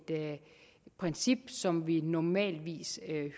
princip som vi normalt